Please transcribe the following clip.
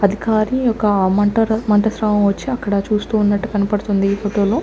అది కాలి ఒక మంట మంట శ్రావం వచ్చి అక్కడ చూస్తూ ఉన్నట్టు కనపడుతుంది ఈ ఫోటో లో.